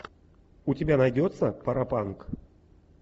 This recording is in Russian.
у тебя найдется паропанк